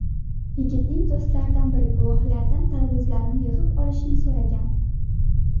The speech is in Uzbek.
Yigitning do‘stlaridan biri guvohlardan tarvuzlarni yig‘ib olishni so‘ragan.